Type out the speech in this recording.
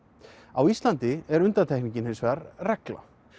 á Íslandi er undantekningin hins vegar reglan